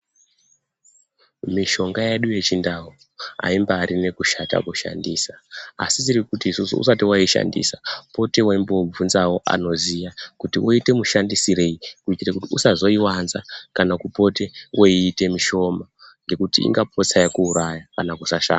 Mishonga yedu yechindau aimbarina kushata kushandisa ASI tirikuti isusu usati waaishandisa pota weibvunzawo vanoziya kuti woita mashandisirei kuitira kuti usazvoiwanza kana kupota weita mushoma ngekuti ingaputsa rakuuraya kana kusashanda